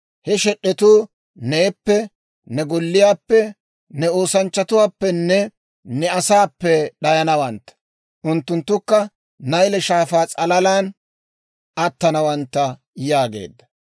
He shed'etuu neeppe, ne golliyaappe, ne oosanchchatuwaappenne ne asaappe d'ayanawantta; unttunttukka Nayle Shaafaa s'alalan attanawantta» yaageedda.